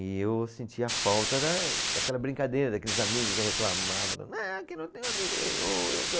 E eu sentia a falta da, daquela brincadeira, daqueles amigos, eu reclamava, ah, aqui não tenho amigo nenhum, e não sei.